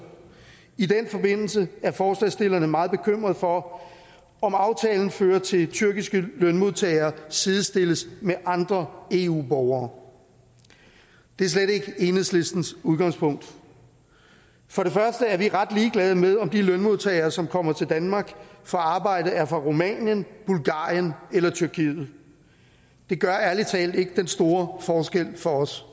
i den forbindelse er forslagsstillerne meget bekymret for om aftalen fører til at tyrkiske lønmodtagere sidestilles med andre eu borgere det er slet ikke enhedslistens udgangspunkt for det første er vi ret ligeglade med om de lønmodtagere som kommer til danmark for at arbejde er fra rumænien bulgarien eller tyrkiet det gør ærlig talt ikke den store forskel for os